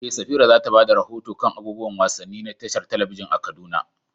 Eh, Safira za ta ba da rahoto kan abubuwan wasanni na tashar talabijin a Kaduna.